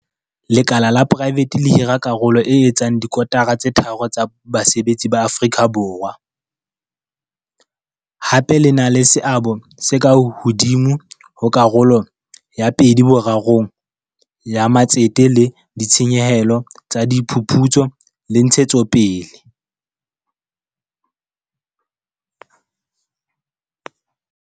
Lekala la poraefete le hira karolo e etsang dikotara tse tharo tsa basebetsi ba Afrika Borwa, hape le na le seabo se ka hodimo ho karolo ya pedi-borarong ya matsete le ditshenyehelo tsa diphuputso le ntshetsopele.